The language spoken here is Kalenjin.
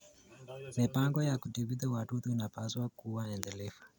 Mipango ya kudhibiti wadudu inapaswa kuwa endelevu.